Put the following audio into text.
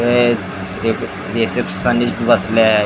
हे एक रिसेप्शनीस्ट बसले आहे.